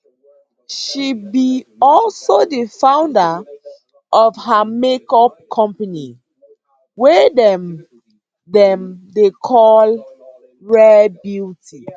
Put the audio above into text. she be also di founder of her make up company wey dem dem dey call rare beauty